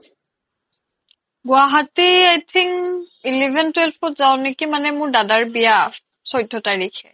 Guwahati i think eleven twelve ত যাও নেকি মানে মোৰ দাদাৰ বিয়া চৈধ্য তাৰিখে